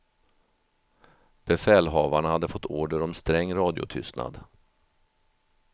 Befälhavarna hade fått order om sträng radiotystnad.